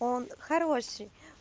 он хороший